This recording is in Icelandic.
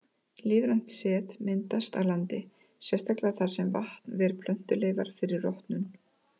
Lífrænt set myndast á landi, sérstaklega þar sem vatn ver plöntuleifar fyrir rotnun.